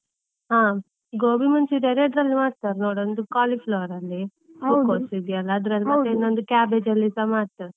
ಹಾ, gobi manchurian ಎರಡರಲ್ಲಿ ಮಾಡ್ತಾರೆ ನೋಡು, ಒಂದು cauliflower ಅಲ್ಲಿ, ಹೂಕೋಸ ಇದೆ ಅಲ್ಲ ಅದರಲ್ಲಿ ಮತ್ತೆ ಇನ್ನೊಂದು, cabbage ಅಲ್ಲಿಸ ಮಾಡ್ತಾರೆ.